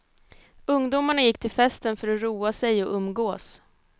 Ungdomarna gick till festen för att roa sig och umgås.